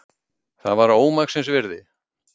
Það var ómaksins virði.